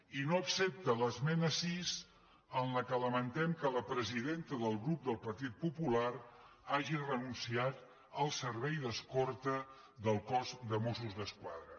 i no accepta l’esmena sis en què lamentem que la presidenta del grup del partit popular hagi renunciat al servei d’escorta del cos de mossos d’esquadra